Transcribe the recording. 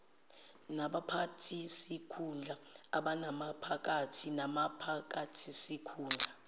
nabaphathisikhundla abamaphakathi nabaphathisikhundla